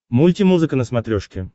мультимузыка на смотрешке